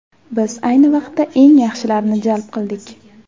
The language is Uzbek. Biz ayni vaqtda eng yaxshilarini jalb qildik.